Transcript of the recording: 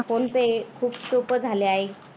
phone pay खूप सोप्प झाल आहे.